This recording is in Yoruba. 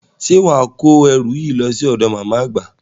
Ṣé wà á kó ẹrù yìí lọ sí ọ̀dọ̀ màmá àgbà?